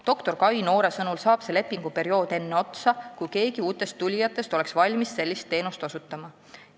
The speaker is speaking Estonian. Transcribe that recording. Doktor Kai Noore sõnul saab see lepinguperiood enne otsa, kui keegi uutest tulijatest oleks valmis sellist teenust osutama.